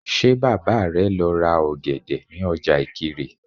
Ṣé Bàbá rẹ lọ ra ọ̀gẹ̀dẹ̀ ní ọjà Ìkirè?